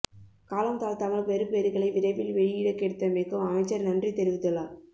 காலம் தாழ்த்தாமல் பெறுபேறுகளை விரைவில் வெளியிடக் கிடைத்தமைக்கும் அமைச்சர் நன்றி தெரிவித்துள்ளார்